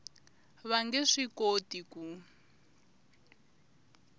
va nge swi koti ku